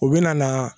U bɛ na na